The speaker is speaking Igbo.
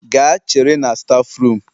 Gaa chere na stafu rum